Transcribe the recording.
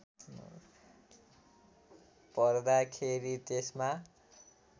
भर्दा खेरि त्यसमा